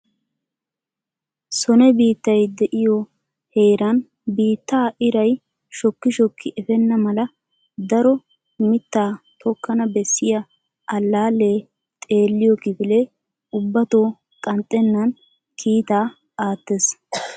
sone biittay de'iyo heeran biittaa iray shokki shokki efenna mala daro mittaa tokkana bessiya allaale xeelliyo kifilee ubbatto qanxxenan kiitaa aattees.